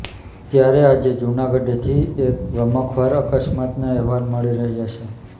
ત્યારે આજે જૂનાગઢથી એક ગમખ્વાર અકસ્માતના અહેવાલ મળી રહ્યા છે